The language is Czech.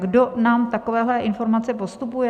Kdo nám takovéhle informace postupuje?